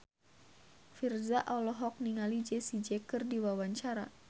Virzha olohok ningali Jessie J keur diwawancara